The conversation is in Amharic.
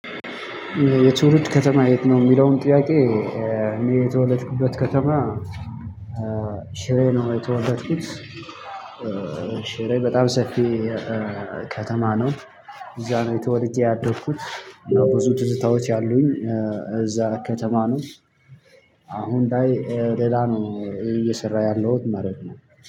የትውልድ ከተማህ የት ነው የሚለውን ጥያቄ እኔ የተወለድኩበት ከተማ ሽሬ ነው። የተወለድኩት ሽሬ በጣም ሰፊ ከተማ ነው። እዛ ነው ተወልጄ ያደኩት ብዙ ትዝታዎች ያሉኝ እዛ ከተማ ነው። አሁን ላይ ሌላ ነው። እየሰራሁ ያለውት ማለት ነው